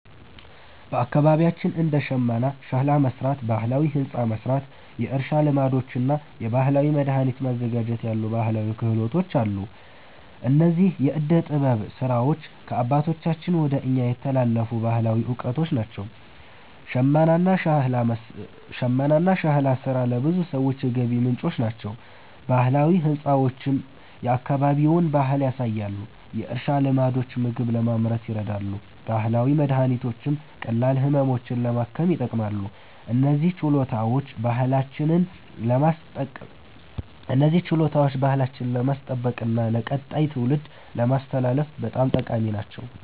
በአካባቢያችን እንደ ሽመና፣ ሸክላ መሥራት፣ ባህላዊ ሕንፃ መሥራት፣ የእርሻ ልማዶች እና የባህላዊ መድኃኒት ማዘጋጀት ያሉ ባህላዊ ክህሎቶች አሉ። እነዚህ የዕደ ጥበብ ሥራዎች ከአባቶቻችን ወደ እኛ የተላለፉ ባህላዊ እውቀቶች ናቸው። ሽመናና ሸክላ ሥራ ለብዙ ሰዎች የገቢ ምንጭ ይሆናሉ፣ ባህላዊ ሕንፃዎችም የአካባቢውን ባህል ያሳያሉ። የእርሻ ልማዶች ምግብ ለማምረት ይረዳሉ፣ ባህላዊ መድኃኒቶችም ቀላል ህመሞችን ለማከም ይጠቅማሉ። እነዚህ ችሎታዎች ባህላችንን ለማስጠበቅና ለቀጣይ ትውልድ ለማስተላለፍ በጣም ጠቃሚ ናቸው።